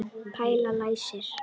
Palli læsir.